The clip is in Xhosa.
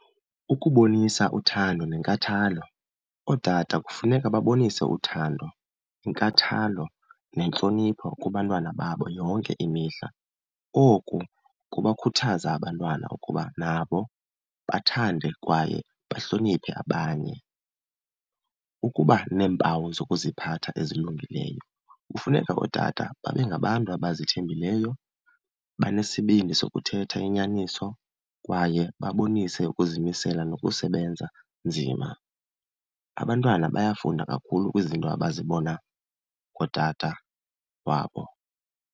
Ukubonisa uthando nenkathalo, ootata kufuneka babonise uthando, inkathalo nentlonipho kubantwana babo yonke imihla. Oku kubakhuthaza abantwana ukuba nabo bathande kwaye bahloniphe abanye. Ukuba neempawu zokuziphatha ezilungileyo, kufuneka ootata babe ngabantu abazithembileyo, abanesibindi sokuthetha inyaniso kwaye babonise ukuzimisela nokusebenza nzima. Abantwana bayafunda kakhulu kwizinto abazibona kootata wabo.